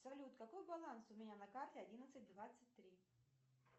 салют какой баланс у меня на карте одиннадцать двадцать три